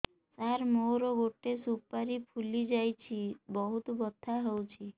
ସାର ମୋର ଗୋଟେ ସୁପାରୀ ଫୁଲିଯାଇଛି ବହୁତ ବଥା ହଉଛି